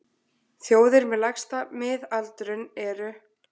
Þjóðir með lægsta miðaldurinn eru: